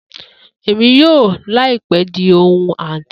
Emi yoo laipe di ohun anti